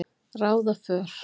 ráða för.